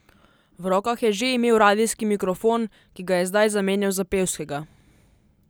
V rokah je že imel radijski mikrofon, ki ga je zdaj zamenjal za pevskega.